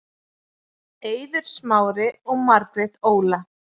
Eiður Smári og Margrét Óla